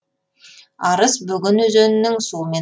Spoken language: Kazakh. арыс бөген өзенінің суымен толыға